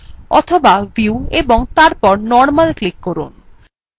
অথবা view ও তারপর normal ক্লিক করতে পারেন